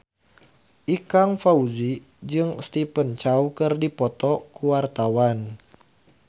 Ikang Fawzi jeung Stephen Chow keur dipoto ku wartawan